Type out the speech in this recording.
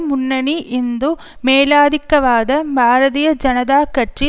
முன்னணி இந்து மேலாதிக்கவாத பாரதிய ஜனதா கட்சி